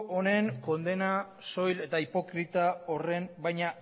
honen kondena soil eta hipokrita horren baina